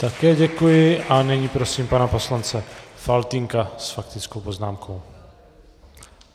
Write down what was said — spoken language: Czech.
Také děkuji a nyní prosím pana poslance Faltýnka s faktickou poznámkou.